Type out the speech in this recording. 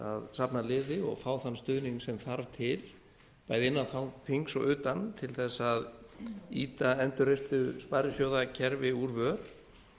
að safna liði og fá þann stuðning sem þarf til bæði innan þings og utan til þess að ýta endurreistu sparisjóðakerfi úr vör